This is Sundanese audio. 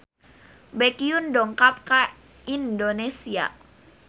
Baekhyun dongkap ka Indonesia